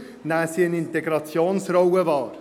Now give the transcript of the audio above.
Dafür nehmen sie eine Integrationsrolle wahr.